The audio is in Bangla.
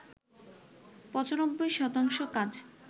৯৫ শতাংশ কাজ